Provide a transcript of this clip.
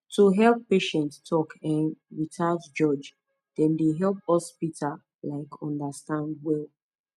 to hear patient talk um without judge dem dey help hospital um understand well